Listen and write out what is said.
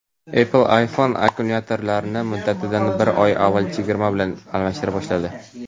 Apple iPhone akkumulyatorlarini muddatidan bir oy avval chegirma bilan almashtira boshladi.